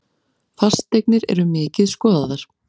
Fasteignir eru mikið skoðaðar